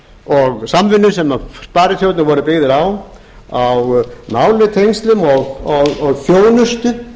og samvinnu sem sparisjóðirnir voru byggðir á á nánum tengslum og þjónustu